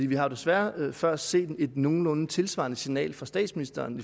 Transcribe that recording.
vi har desværre før set et nogenlunde tilsvarende signal fra statsministeren